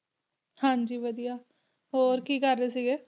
ਹਾਂ ਜੀ ਵਧੀਆ ਹੋਰ ਕੀ ਕਰ ਰਹੇ ਸੀ ਗਾ